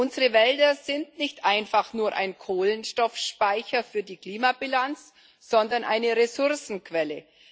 Unsere Wälder sind nicht einfach nur ein Kohlenstoffspeicher für die Klimabilanz, sondern eine Ressourcenquelle.